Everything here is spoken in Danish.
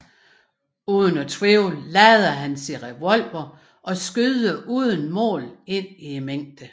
Uden at tvivle lader han sin revolver og skyder uden mål ind i mængden